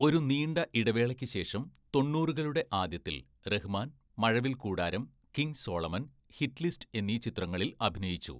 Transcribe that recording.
ഒരു നീണ്ട ഇടവേളയ്ക്ക് ശേഷം, തൊണ്ണൂറുകളുടെ ആദ്യത്തിൽ Rahman Mazhavilkoodaram, King Solomon, hit list എന്നീ ചിത്രങ്ങളിൽ അഭിനയിച്ചു.